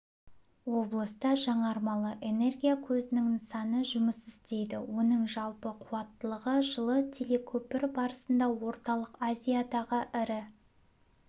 облыста жаңармалы энергия көзінің нысаны жұмыс істейді оның жалпы қуаттылығы жылы телекөпір барысында орталық азиядағы ірі